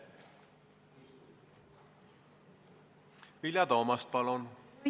Vilja Toomast, palun!